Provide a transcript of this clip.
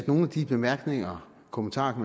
nogle af de bemærkninger og kommentarer